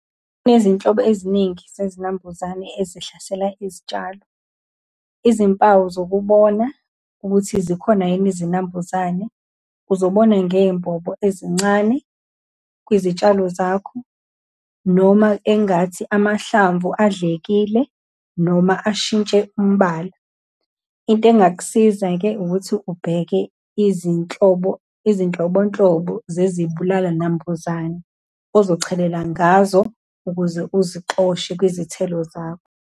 Kunezinhlobo eziningi zezinambuzane ezihlasela izitshalo. Izimpawu zokuba ukuthi zikhona yini izinambuzane, uzobona ngey'mbobo ezincane kwizitshalo zakho, noma engathi amahlamvu adlekile, noma ashintshe umbala. Into engakusiza-ke ukuthi ubheke izinhlobo, izinhlobonhlobo zezibulalanambuzane, ozochelela ngazo ukuze uzosixoshe kwizithelo zakho.